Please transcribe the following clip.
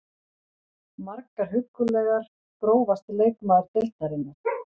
Margar huggulegar Grófasti leikmaður deildarinnar?